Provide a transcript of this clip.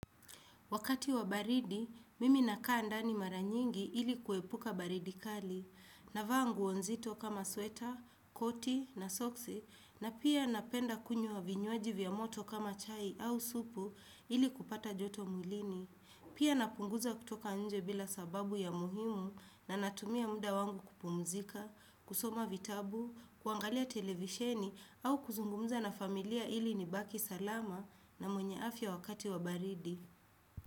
Wakati wa baridi, mimi na kaa ndani mara nyingi ili kuepuka baridi kali. Navaa nguo nzito kama sweta, koti na soksi na pia napenda kunywa vinywaji vya moto kama chai au supu ili kupata joto mwilini. Pia napunguza kutoka anje bila sababu ya muhimu na natumia muda wangu kupumzika, kusoma vitabu, kuangalia televisheni au kuzungumuza na familia ili ni baki salama na mwenye afya wakati wa baridi.